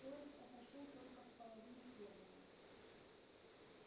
поезд отошёл только в половине первого